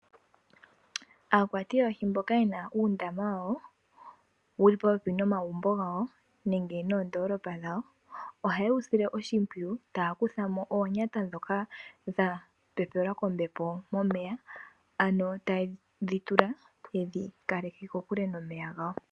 Aakwati yoohi mboka yena uundama wayo wuli popepi nomagumbo gawo nenge noondoolopa dhawo. Oha yewu sile oshimpwiyu taya kuthamo oonyata ndhoka dha pepelwa kombepo momeya . Ano taye dhi tula yedhi kaleke kokule nomeya gawo.